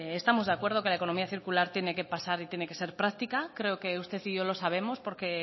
estamos de acuerdo que la economía circular tiene que pasar y tiene que ser práctica creo que usted y yo lo sabemos porque